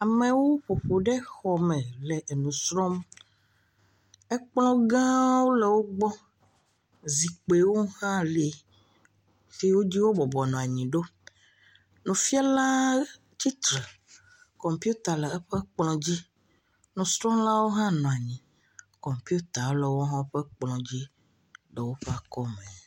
Amewo ƒoƒu ɖe xɔ me le nusrɔm. Ekplɔ gã le wògbɔ, zikpuiwo hã le, si dzi wo bɔbɔ nɔ anyi ɖo. Nufiala tsitre, kɔmpita le eƒe megbe. Nusrɔ̃lawo hã nɔ anyi, kɔmpita le woƒe ekplɔa dzi.